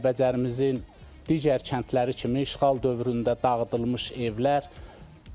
Kəlbəcərimizin digər kəndləri kimi işğal dövründə dağıdılmış evlər.